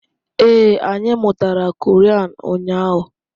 Ee, anyị mụtara Korean ụnyaahụ